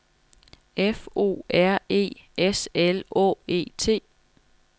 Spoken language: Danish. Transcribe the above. F O R E S L Å E T